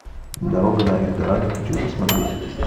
дорога на эльдорадо хочу посмотреть